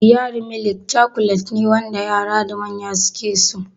Diyari milik cakulet ne wanda yara da manya suke so